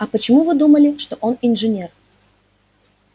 а почему вы думали что он инженер